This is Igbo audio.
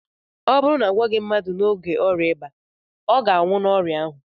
ọ bụrụ na a gwọọghị mmadụ n'oge ọrịa ịba, ọ ga-anwụ n'ọrịa ahụ